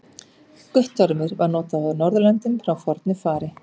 Guttormur var notað á Norðurlöndum frá fornu fari.